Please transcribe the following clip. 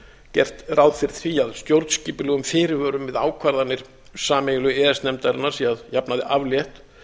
gert ráð fyrir því að stjórnskipulegum fyrirvörum við ákvarðanir sameiginlegu e e s nefndarinnar sé að jafnaði aflétt